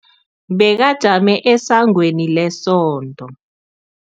Bekajame esangweni lesonto.